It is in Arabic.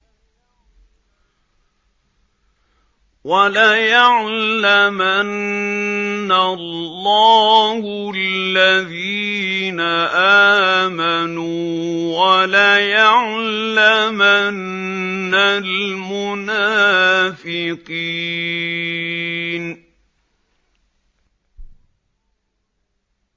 وَلَيَعْلَمَنَّ اللَّهُ الَّذِينَ آمَنُوا وَلَيَعْلَمَنَّ الْمُنَافِقِينَ